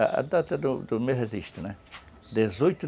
A data do do meu registro, né? Dezoito